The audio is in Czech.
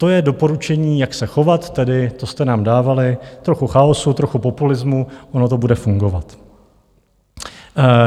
To je doporučení, jak se chovat, tedy to jste nám dávali: trochu chaosu, trochu populismu, ono to bude fungovat.